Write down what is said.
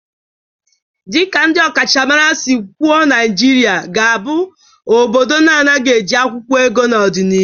Dị ka ndị ọkachamara si kwụọ Naijiria ga-abụ obodo na-anaeghị eji akwụkwụọ ego n'ọdịnihu